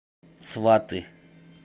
сваты